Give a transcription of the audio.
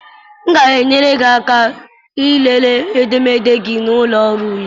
M ga-enyere gị aka ịlele edemede gị na ụlọ ọrụ ule.